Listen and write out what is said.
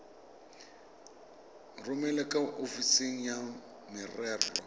romele kwa ofising ya merero